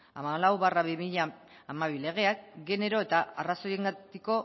hamalau barra bi mila hamabi legeak genero eta arrazoiengatiko